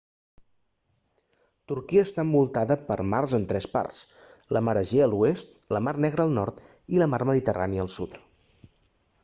turquia està envoltada per mars en tres parts la mar egea a l'oest la mar negra al nord i la mar mediterrània al sud